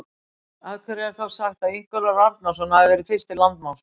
Af hverju er þá sagt að Ingólfur Arnarson hafi verið fyrsti landnámsmaðurinn?